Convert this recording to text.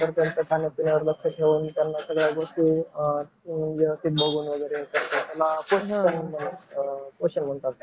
जाऊदे बारावीमध्ये कोणतं कोण कोणतं कोणतं ग्रुप वगैरे राहता माहिती आहे का तुला.